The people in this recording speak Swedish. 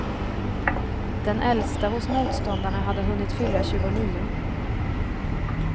Den äldsta hos motståndarna hade hunnit fylla tjugonio.